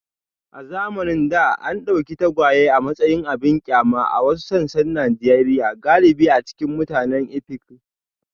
A zamanin da, an dauki tagwaye a matsayin abin kyama a wasu sassan Najeriya galibi a cikin mutanen Efik.